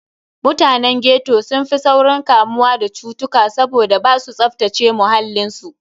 Mutanen ghetto sun fi saurin kamuwa da cutuka saboda basu tsaftace muhallin su.